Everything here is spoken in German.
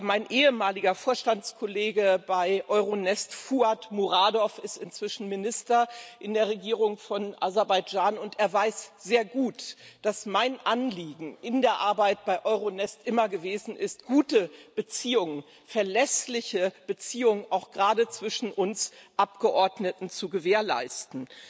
Mein ehemaliger Vorstandskollege bei EuroNest, Fuad Muradov, ist inzwischen Minister in der Regierung von Aserbaidschan, und er weiß sehr gut, dass mein Anliegen in der Arbeit bei EuroNest immer gewesen ist, gute Beziehungen, verlässliche Beziehungen auch gerade zwischen uns Abgeordneten zu gewährleisten.